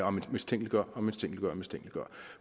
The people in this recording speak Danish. og man mistænkeliggør og mistænkeliggør